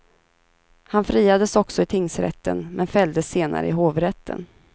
Han friades också i tingsrätten, men fälldes senare i hovrätten.